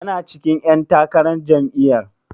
Yana cikin ƴan takarar jam'iyyar?